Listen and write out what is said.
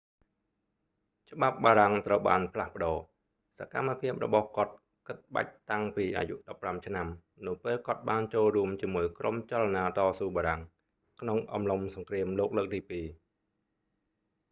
ច្បាប់បារាំងត្រូវបានផ្លាស់ប្តូរ សកម្មភាពរបស់គាត់ គិតបាច់តាំងពីអាយុ 15 ឆ្នាំ នៅពេលគាត់បានចូលរួមជាមួយក្រុមចលនាតស៊ូបារាំង ក្នុងអំឡុងសង្គ្រាមលោកលើកទីពីរ